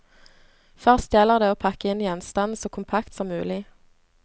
Først gjelder det å pakke inn gjenstanden så kompakt som mulig.